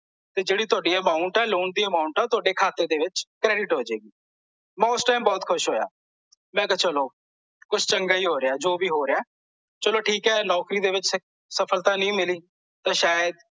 ਤੇ ਜਿਹੜੀ ਤੁਹਾਡੀ amount ਐ ਲੋਨ ਦੀ amount ਐ ਓਹ ਤੁਹਾਡੇ ਖਾਤੇ ਦੇ ਵਿੱਚ credit ਹੋ ਜੇਗੀ ਮੈਂ ਓਸ ਟਾਈਮ ਬਹੁਤ ਖੁਸ਼ ਹੋਇਆ ਮੈਂ ਕਿਹਾ ਚਲੋ ਕੁਝ ਚੰਗਾ ਹੀ ਹੋ ਰਿਹਾ ਐ ਜੋ ਵੀ ਹੋ ਰਿਹਾ ਐ ਚਲੋ ਠੀਕ ਐ ਨੌਕਰੀ ਦੇ ਵਿੱਚ ਸਫਲਤਾ ਨਹੀਂ ਮਿਲੀ ਤੇ ਸ਼ਾਇਦ